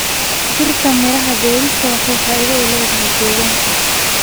Dhirta miraha beerista waxay faa'iido u leedahay deegaanka.